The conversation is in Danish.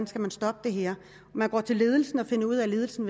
skal man stoppe det her man går til ledelsen og finder ud af at ledelsen